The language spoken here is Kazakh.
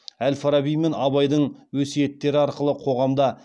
әл фараби мен абайдың өсиеттері арқылы қоғамда